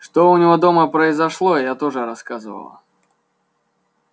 что у него дома произошло я тоже рассказывала